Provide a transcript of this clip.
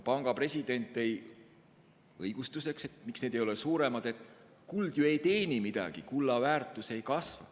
Panga president tõi õigustuseks, miks kullavaru ei ole suurem, et kuld ju ei teeni midagi, kulla väärtus ei kasva.